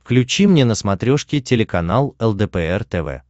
включи мне на смотрешке телеканал лдпр тв